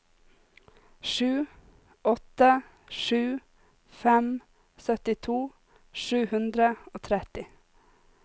sju åtte sju fem syttito sju hundre og tretti